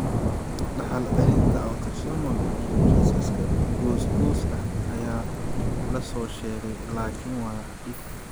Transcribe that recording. Dhaxal-celinta autosomal iyo kiisas goos goos ah ayaa la soo sheegay, laakiin waa dhif.